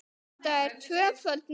Þetta er tvöföld neitun.